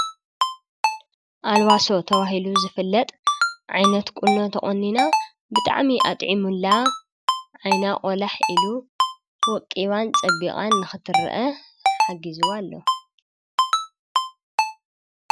አልዋሶ ተበሂሉ ዝፍለጥ ዓይነት ቁኖ ተቆኒና ብጣዕሚ ኣጥዒሙላ፤ ዓይና ቆላሕ ኢሉ፤ ወቂባን ፀቢቓን ንኽትረአ ሓጊዝዋ አሎ።